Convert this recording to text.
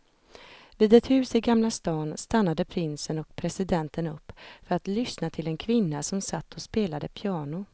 Vid ett hus i gamla stan stannade prinsen och presidenten upp för att lyssna till en kvinna som satt och spelade piano.